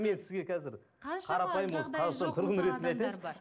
мен сізге қазір қаншама